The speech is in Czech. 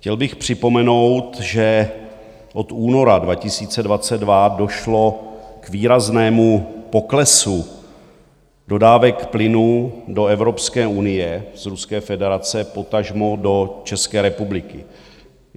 Chtěl bych připomenout, že od února 2022 došlo k výraznému poklesu dodávek plynu do Evropské unie z Ruské federace, potažmo do České republiky.